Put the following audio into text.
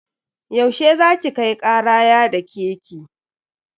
Yau she za ki kai kara ya dake ki?